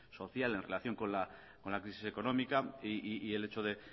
social en relación con la crisis económica y el hecho de